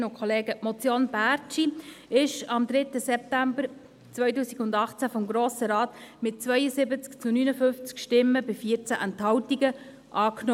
der SiK. Die Motion Bärtschi wurde am 3. September 2018 vom Grossen Rat mit 72 zu 59 Stimmen bei 14 Enthaltungen angenommen.